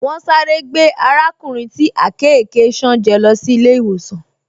Wọ́n sáré gbé arákùnrin tí àkekèé ṣán jẹ́ lọ sí ilé-ìwòsàn